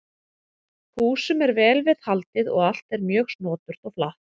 Húsum er vel við haldið og allt er mjög snoturt og flatt.